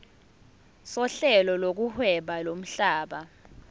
sohlelo lokuhweba lomhlaba